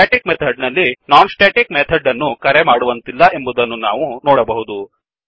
static method ನಲ್ಲಿ non static method ಅನ್ನು ಕರೆಮಾಡುವಂತಿಲ್ಲ ಎಂಬುದನ್ನು ನಾವು ನೋಡಬಹುದು